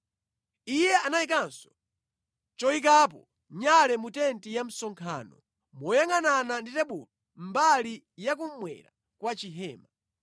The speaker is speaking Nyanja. Iye anayikanso choyikapo nyale mu tenti ya msonkhano moyangʼanana ndi tebulo mbali yakummwera kwa chihema.